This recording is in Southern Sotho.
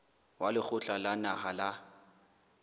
wa lekgotla la naha la